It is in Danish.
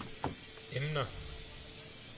emner